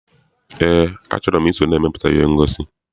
Eé, a chọrọ m I so na-emepụta ihe ngosi.